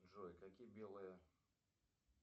джой какие белые